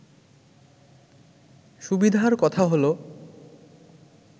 সুবিধার কথা হলো